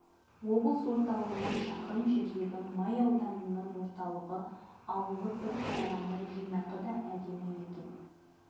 облыс орталығынан шақырым жердегі май ауданының орталығы ауылы бір қарағанда жинақы да әдемі екен